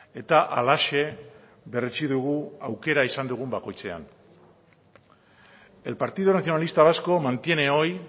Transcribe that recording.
eta halaxe berretsi dugu aukera izan dugun bakoitzean el partido nacionalista vasco mantiene hoy